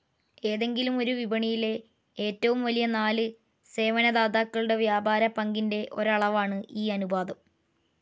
ഏതെങ്കിലും ഒരു വിപണിയിലെ ഏറ്റവും വലിയ നാല് സേവനധാതാക്കളുടെ വ്യാപാര പങ്കിൻ്റെ ഒരാളവാണ് ഈ അനുപാതം.